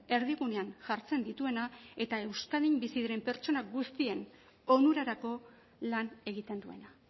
erdigunean jartzen dituena eta euskadin bizi diren persona guztien onurarako lan egiten duena